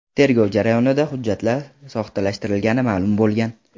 Tergov jarayonida hujjatlar soxtalashtirilgani ma’lum bo‘lgan.